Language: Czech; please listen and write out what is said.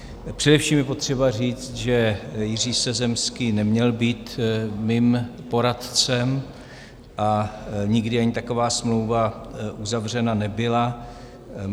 Především je potřeba říct, že Jiří Sezemský neměl být mým poradcem a nikdy ani taková smlouva uzavřena nebyla.